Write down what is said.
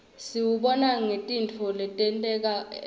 siwubona ngetintfo letenteka evfni